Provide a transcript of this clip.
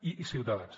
i ciutadans